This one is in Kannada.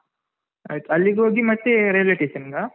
ಆಯ್ತು, ಅಲ್ಲಿಗೆ ಹೋಗಿ ಮತ್ತೆ railway station ನಿಗಾ?